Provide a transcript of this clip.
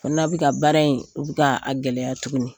Kona bɛ ka baara in k'a gɛlɛya tuguni,